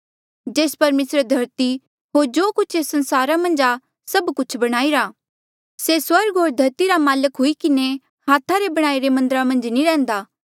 जेस परमेसरे धरती होर जो कुछ एस संसारा मन्झ आ सभ कुछ बणाईरा से स्वर्ग होर धरती रा माल्क हुई किन्हें हाथा रे बणाईरे मन्दरा मन्झ नी रैहन्दा